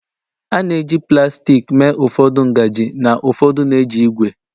a na-eji plastik mee ụfọdụ ngaji na ụfọdụ na-eji ígwè